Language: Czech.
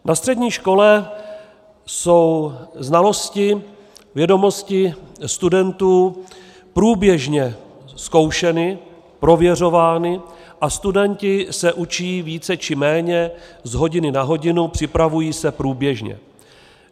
Na střední škole jsou znalosti, vědomosti studentů průběžně zkoušeny, prověřovány a studenti se učí více či méně z hodiny na hodinu, připravují se průběžně.